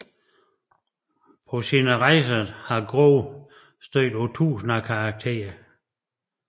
På sine rejser har Groo stødt på tusind af karakterer